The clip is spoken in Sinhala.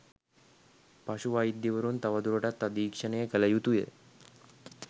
පශු වෛද්‍යවරුන් තවදුරටත් අධීක්ෂණය කළ යුතු ය